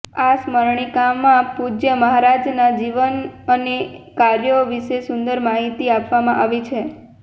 આ સ્મરણિકામાં પૂજ્ય મહારાજના જીવન અને કાર્યો વિશે સુંદર માહિતી આપવામાં આવી છે